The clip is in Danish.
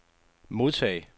modtag